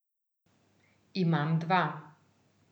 Imam dva.